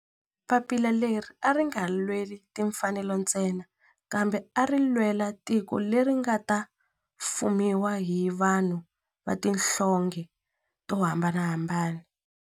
Papila leri a ri nga lweli timfanelo ntsena kambe ari lwela tiko leri nga ta fumiwa hi vanhu va tihlonge to hambanahambana.